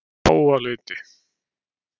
Háaleiti